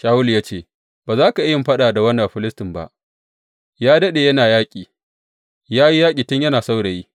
Shawulu ya ce, Ba za ka iya yin faɗa da wannan Bafilistin ba, ya daɗe yana yaƙi, ya yi yaƙi tun yana saurayi.